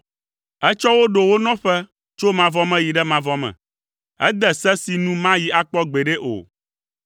Etsɔ wo ɖo wo nɔƒe tso mavɔ me yi ɖe mavɔ me, ede se si nu mayi akpɔ gbeɖe o.